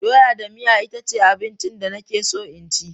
Doya da miya itace abincin da nake so in ci.